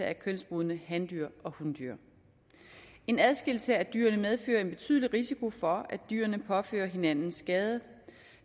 af kønsmodne handyr og hundyr en adskillelse af dyrene medfører en betydelig risiko for at dyrene påfører hinanden skade